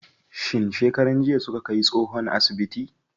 Shin shekaran jiya suka kai tsohon asibiti?